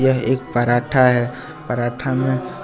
यह एक एक पराठा है पराठा में--